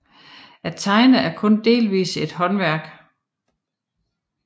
At tegne er kun delvist et håndværk